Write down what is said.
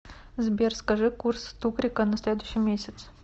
сбер скажи курс тугрика на следующий месяц